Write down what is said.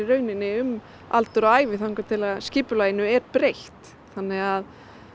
um aldur og ævi þangað til skipulaginu er breytt þannig að